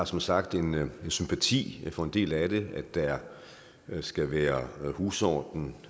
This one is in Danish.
som sagt sympati for en del af det der skal være en husorden